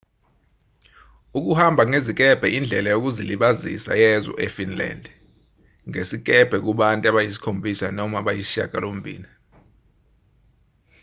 ukuhamba ngezikebhe indlela yokuzilibazisa yezwe efinland ngesikebhe kubantu abayisikhombisa noma abayisishiyagalombili